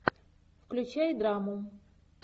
включай драму